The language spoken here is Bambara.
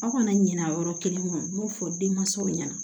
Aw kana ɲinɛ a yɔrɔ kelen kɔ n b'o fɔ denmansaw ɲɛna